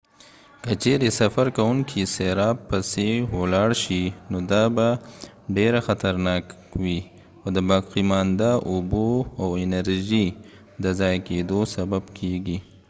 که چیرې سفر کوونکي سراب پسې ولاړ شي نو دا به ډیره خطرناک وي او د باقیمانده اوبو او انرژۍ د ضایع کیدو سبب کیږي